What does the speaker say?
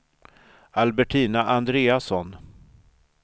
Albertina Andreasson